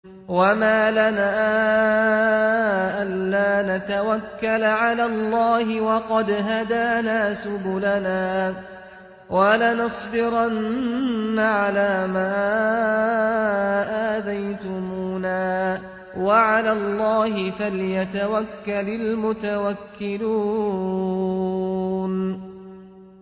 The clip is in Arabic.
وَمَا لَنَا أَلَّا نَتَوَكَّلَ عَلَى اللَّهِ وَقَدْ هَدَانَا سُبُلَنَا ۚ وَلَنَصْبِرَنَّ عَلَىٰ مَا آذَيْتُمُونَا ۚ وَعَلَى اللَّهِ فَلْيَتَوَكَّلِ الْمُتَوَكِّلُونَ